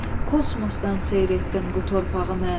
Kosmosdan seyr etdim bu torpağı mən.